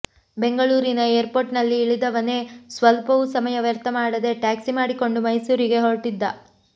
ಬೆಂಗಳೂರಿನ ಏರ್ಪೋರ್ಟಿನಲ್ಲಿ ಇಳಿದವನೇ ಸ್ವಲ್ಪವೂ ಸಮಯ ವ್ಯರ್ಥ ಮಾಡದೆ ಟ್ಯಾಕ್ಸಿ ಮಾಡಿಕೊಂಡು ಮೈಸೂರಿಗೆ ಹೊರಟಿದ್ದ